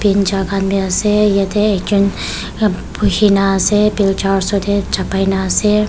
bincha khan bhi ase yatte ekjont bose kini ase bincha osorte chapai laga ase.